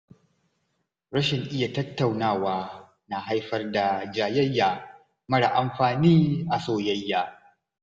Rashin iya tattaunawa na haifar da jayayya mara amfani a soyayya.